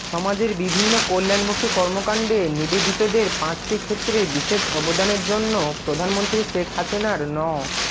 সমাজের বিভিন্ন কল্যাণমূখী কর্মকান্ডে নিবেদিতদের পাঁচটি ক্ষেত্রে বিশেষ অবদানের জন্য প্রধানমন্ত্রী শেখ হাসিনার ন